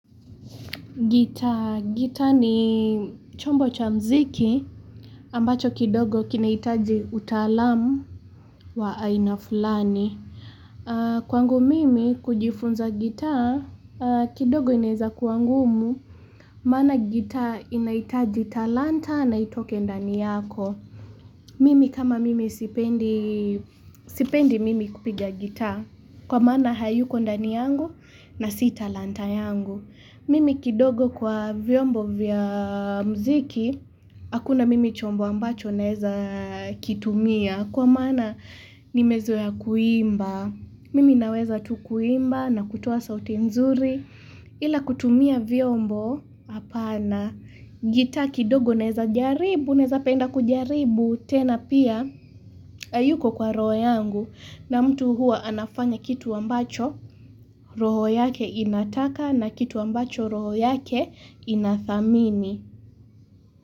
Gitaa, gitaa ni chombo cha mziki ambacho kidogo kinahitaji utaalamu wa aina fulani. Kwangu mimi kujifunza gitaa, kidogo inaeza kuwa ngumu. Maana gitaa inahitaji talanta na itoke ndani yako. Mimi kama mimi sipendi, sipendi mimi kupiga gita. Kwa maana haiyuko ndani yangu na si talanta yangu. Mimi kidogo kwa vyombo vya mziki, hakuna mimi chombo ambacho naeza kitumia, kwa mana nimezoa kuimba. Mimi naweza tu kuimba na kutoa sauti nzuri, ila kutumia vyombo, hapana, gitaa kidogo naeza jaribu, naeza penda kujaribu, tena pia haiyuko kwa roho yangu na mtu huwa anafanya kitu ambacho roho yake inataka na kitu ambacho roho yake inathamini.